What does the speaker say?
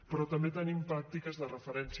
però també tenim pràctiques de referència